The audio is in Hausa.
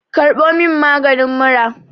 karbo min magani mura!